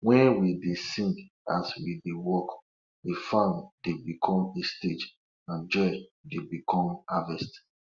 wen we dey sing as we dey work de farm dey become a stage and joy dey become harvest